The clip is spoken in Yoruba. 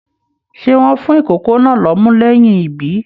Ṣe wọn fún ikòkò náà l'ọmú lẹyìn ibí?